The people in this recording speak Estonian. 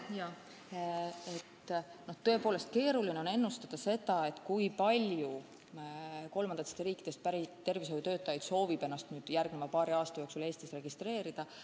Jaa, tõepoolest on keeruline ennustada, kui palju kolmandatest riikidest pärit tervishoiutöötajaid soovib ennast järgmise paari aasta jooksul Eestis registreerida.